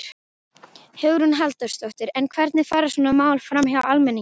Hugrún Halldórsdóttir: En hvernig fara svona mál framhjá almenningi?